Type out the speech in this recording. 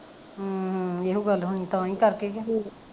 ਹਮ ਹਮ ਏਹੋ ਗੱਲ ਹੋਣੀ ਤਾਂਹੀਂ ਕਰਕੇ ਕਿ